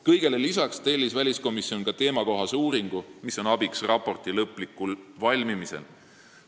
Kõigele lisaks tellis väliskomisjon ka teemakohase uuringu, mis on abiks raporti lõplikul valmimisel.